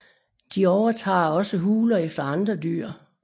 De overtager også huler efter andre dyr